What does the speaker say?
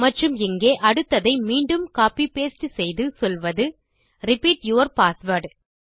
மற்றும் இங்கே அடுத்ததை மீண்டும் கோப்பி பாஸ்டே செய்து சொல்வது ரிப்பீட் யூர் பாஸ்வேர்ட்